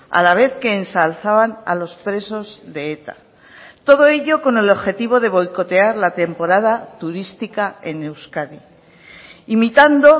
a la vez que ensalzaban a los presos de eta todo ello con el objetivo de boicotear la temporada turística en euskadi imitando